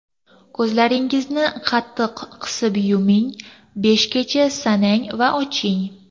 Ko‘zlaringizni qattiq qisib yuming, beshgacha sanang va oching.